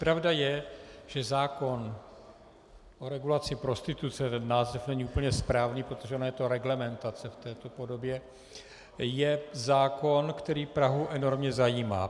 Pravda je, že zákon o regulaci prostituce - ten název není úplně správný, protože ona je to reglementace v této podobě - je zákon, který Prahu enormně zajímá.